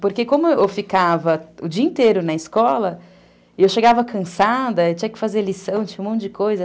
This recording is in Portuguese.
Porque, como eu ficava o dia inteiro na escola, eu chegava cansada, tinha que fazer lição, tinha um monte de coisa.